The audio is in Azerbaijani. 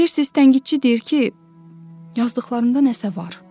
Bilirsiz, tənqidçi deyir ki, yazdıqlarımda nəsə var.